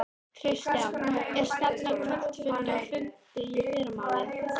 Kristján: Er stefnt að kvöldfundi og fundi í fyrramálið?